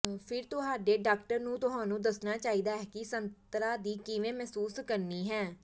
ਫਿਰ ਤੁਹਾਡੇ ਡਾਕਟਰ ਨੂੰ ਤੁਹਾਨੂੰ ਦੱਸਣਾ ਚਾਹੀਦਾ ਹੈ ਕਿ ਸਤਰਾਂ ਦੀ ਕਿਵੇਂ ਮਹਿਸੂਸ ਕਰਨੀ ਹੈ